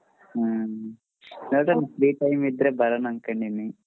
ಹ್ಮ್ ನೋಡಣ free time ಇದ್ರೆ ಬರಣಾ ಅನ್ಕೊಂಡಿದಿನಿ.